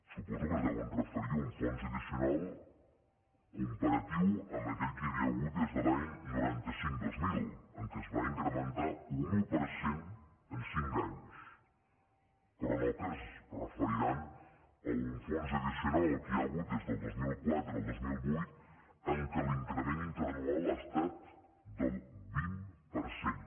suposo que es deuen referir a un fons addicional comparatiu amb aquell que hi havia hagut des de l’any noranta cinc dos mil en què es va incrementar un un per cent en cinc anys però no que es referiran a un fons addicional al que hi ha hagut des del dos mil quatre al dos mil vuit en què l’increment interanual ha estat del vint per cent